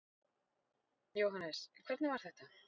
Jóhannes: Hvernig var þetta?